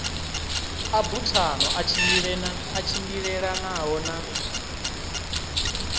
a buthano a tshimbilelanaho na